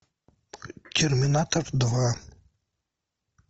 терминатор два